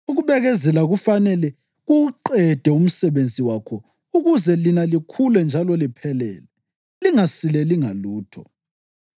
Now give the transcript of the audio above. Ukubekezela kufanele kuwuqede umsebenzi wakho ukuze lina likhule njalo liphelele, lingasileli ngalutho.